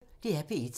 DR P1